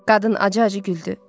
Qadın acı-acı güldü.